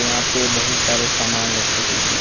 यहां पे बहोत सारे सामान रखे दि हैं।